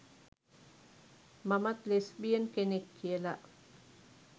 මමත් ලෙස්බියන් කෙනෙක්" කියලා